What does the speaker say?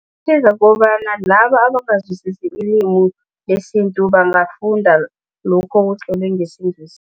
Yenza kobana abangazwisisi ilimi lesintu bangafunda lokho okutlolwe ngesiNgisi.